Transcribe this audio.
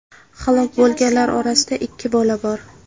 Halok bo‘lganlar orasida ikki bola bor.